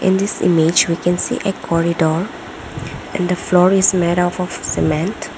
this image we can see a corridor and the floor is made up of cement.